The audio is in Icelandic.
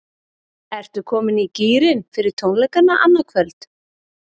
Ertu komin í gírinn fyrir tónleikana annað kvöld?